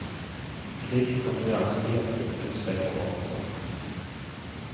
Slik kan du gjerne si at publikum selv har valgt sangene.